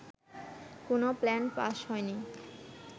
কোনো plan pass হয়নি